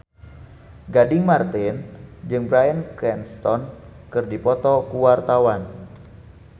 Gading Marten jeung Bryan Cranston keur dipoto ku wartawan